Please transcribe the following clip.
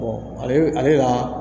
ale la